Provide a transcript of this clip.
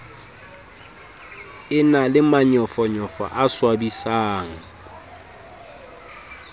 na le manyofonyofo a swabisang